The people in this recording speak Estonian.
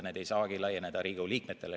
Need ei saa laieneda Riigikogu liikmetele.